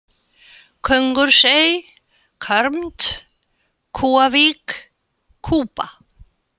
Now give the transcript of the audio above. Köngursey, Körmt, Kúavík, Kúba